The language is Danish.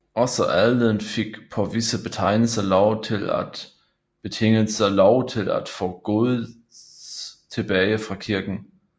Også adelen fik på visse betingelser lov til at få gods tilbage fra kirken